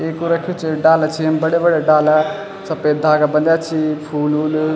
एक वू रख्यूं च डाला छी येम बढ़ै बढ़िया डाला सपेद धागा बंध्या छी फूल वूल।